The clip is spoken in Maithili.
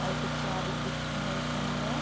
आ एगो चाभी दिख रहल छै हमरा।